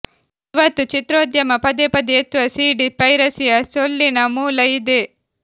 ಇವತ್ತು ಚಿತ್ರೋದ್ಯಮ ಪದೇಪದೇ ಎತ್ತುವ ಸೀಡಿ ಪೈರಸಿಯ ಸೊಲ್ಲಿನ ಮೂಲ ಇದೇ